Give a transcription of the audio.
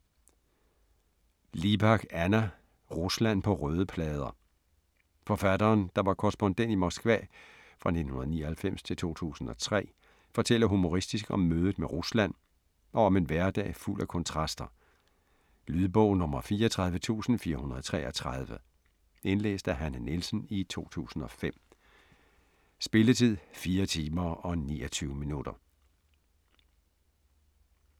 Libak, Anna: Rusland på røde plader Forfatteren, der var korrespondent i Moskva 1999-2003, fortæller humoristisk om mødet med Rusland og om en hverdag fuld af kontraster. Lydbog 34433 Indlæst af Hanne Nielsen, 2005. Spilletid: 4 timer, 29 minutter.